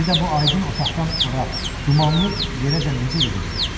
Bir də bu aydın otaqdan ora dumanlı yerəcən necə gedəcəkdi?